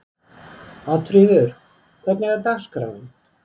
Oddfríður, hvernig er dagskráin?